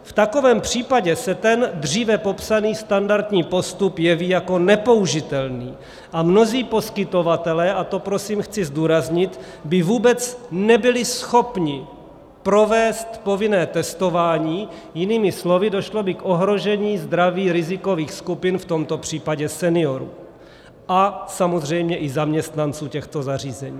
V takovém případě se ten dříve popsaný standardní postup jeví jako nepoužitelný a mnozí poskytovatelé, a to prosím chci zdůraznit, by vůbec nebyli schopni provést povinné testování, jinými slovy došlo by k ohrožení zdraví rizikových skupin, v tomto případě seniorů a samozřejmě i zaměstnanců těchto zařízení.